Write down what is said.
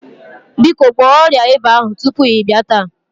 Biko gwọọ ọrịa ịba ahụ tupu ị bịa taa.